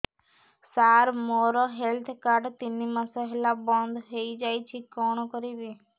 ସାର ମୋର health card ତିନି ମାସ ହେଲା ବନ୍ଦ ହେଇଯାଇଛି କଣ କରିବି